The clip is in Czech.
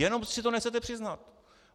Jenom si to nechcete přiznat.